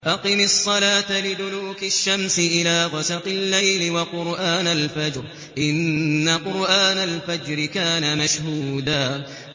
أَقِمِ الصَّلَاةَ لِدُلُوكِ الشَّمْسِ إِلَىٰ غَسَقِ اللَّيْلِ وَقُرْآنَ الْفَجْرِ ۖ إِنَّ قُرْآنَ الْفَجْرِ كَانَ مَشْهُودًا